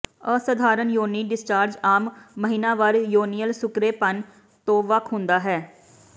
ਅਸਧਾਰਨ ਯੋਨੀ ਡਿਸਚਾਰਜ ਆਮ ਮਹੀਨਾਵਾਰ ਯੋਨੀਅਲ ਸੁਕਰੇਪਨ ਤੋਂ ਵੱਖ ਹੁੰਦਾ ਹੈ